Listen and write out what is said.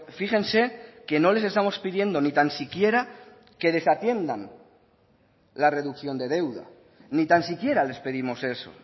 fíjense que no les estamos pidiendo ni tan siquiera que desatiendan la reducción de deuda ni tan siquiera les pedimos eso